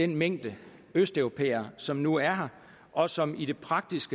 mængden af østeuropæere som nu er her og som i praksis